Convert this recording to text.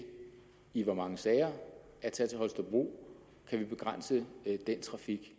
i hvor mange sager at tage til holstebro kan vi begrænse den trafik